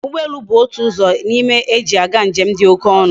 Ugbo elu bu otu na ime uzo eji aga njem di oke onu